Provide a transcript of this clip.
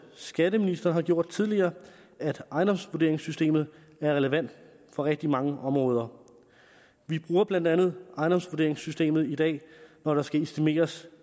skatteministeren har gjort tidligere at ejendomsvurderingssystemet er relevant på rigtig mange områder vi bruger blandt andet ejendomsvurderingssystemet i dag når der skal estimeres